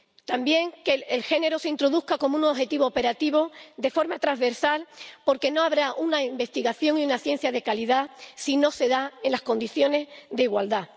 también que el género se introduzca como un objetivo operativo de forma transversal, porque no habrá una investigación y una ciencia de calidad si no se dan en condiciones de igualdad.